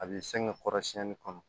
A b'i sɛgɛn kɔrɔsiyɛnni kɔnɔ